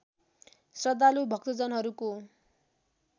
श्रद्धालु भक्तजनहरूको